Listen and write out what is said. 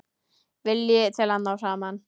Vilji til að ná saman.